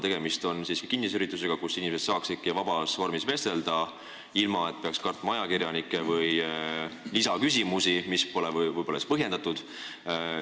Tegemist on kinnise üritusega, et inimesed saaksid vabas vormis vestelda, ilma et peaks kartma ajakirjanikke või lisaküsimusi, mis pole võib-olla põhjendatud.